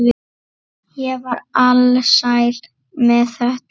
Ég var alsæl með þetta.